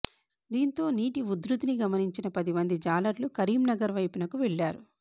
దీంతో నీటి ఉధృతిని గమనించిన పది మంది జాలర్లు కరీంనగర్ వైపునకు వెళ్లారు